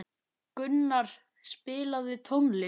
Gunnur, spilaðu tónlist.